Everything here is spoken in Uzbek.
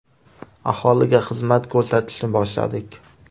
Aholiga xizmat ko‘rsatishni boshladik.